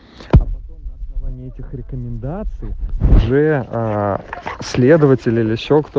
потом на основании этих рекомендаций следователя